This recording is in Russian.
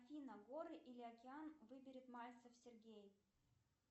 афина горы или океан выберет мальцев сергей